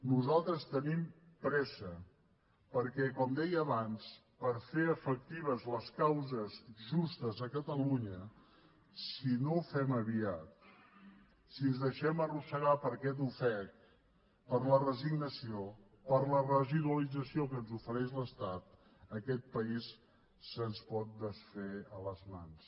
nosaltres tenim pressa perquè com deia abans per fer efectives les causes justes a catalunya si no ho fem aviat si ens deixem arrossegar per aquest ofec per la resignació per la residualització que ens ofereix l’estat aquest país se’ns pot desfer a les mans